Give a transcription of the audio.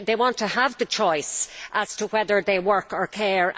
They want to have the choice as to whether they work or care.